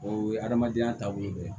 O ye adamadenya taabolo ye